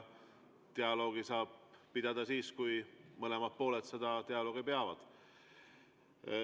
Dialoogi saab pidada siis, kui mõlemad pooled seda dialoogi peavad.